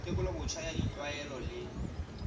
tekolo botjha ya ditlwaelo le